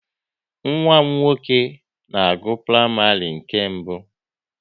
Nwa m nwoke na-agụ praịmarị nke mbụ